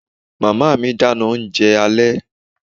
Màmá mi dáná oúnjẹ alẹ́